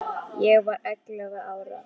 Ég var ellefu ára.